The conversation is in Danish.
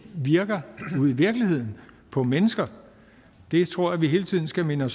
virker ude i virkeligheden på mennesker det tror jeg vi hele tiden skal minde